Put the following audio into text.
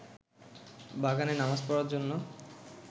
বাগানে নামাজ পড়ার জন্য